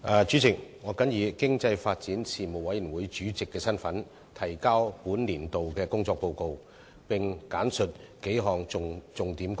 主席，我謹以經濟發展事務委員會主席的身份，提交本年度的工作報告，並簡述數項重點工作。